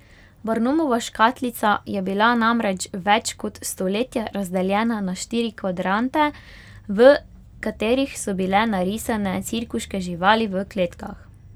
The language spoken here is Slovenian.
Barnumova škatlica je bila namreč več kot stoletje razdeljena na štiri kvadrante, v katerih so bile narisane cirkuške živali v kletkah.